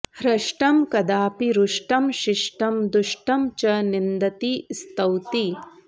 हृष्टं कदापि रुष्टं शिष्टं दुष्टं च निन्दति स्तौति